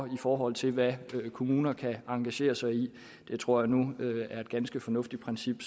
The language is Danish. i forhold til hvad kommuner kan engagere sig i det tror jeg nu er et ganske fornuftigt princip